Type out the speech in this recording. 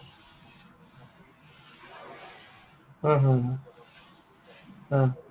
হা, হা, হা। হা।